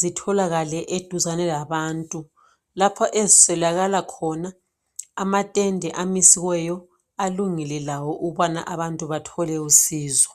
zitholakale eduzane labantu lapho eziselakala khona amatende amisiweyo alungile lawo ukubana abantu bathole usizo